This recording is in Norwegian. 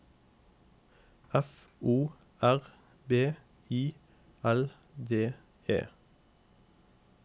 F O R B I L D E